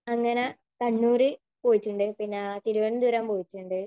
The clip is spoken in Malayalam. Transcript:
അങ്ങനെ കണ്ണൂര് പോയിട്ടുണ്ട്. പിന്നെ തിരുവനന്തപുരം പോയിട്ടുണ്ട്.